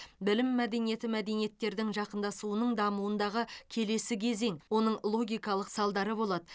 білім мәдениеті мәдениеттердің жақындасуының дамуындағы келесі кезең оның логикалық салдары болады